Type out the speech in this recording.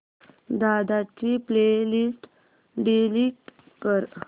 दादा ची play list delete कर